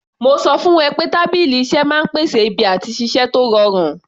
Mo sọ fún ẹ pé tábìlì iṣẹ́ máa ń pèsè ibi àti ṣiṣẹ́ tó rọrùn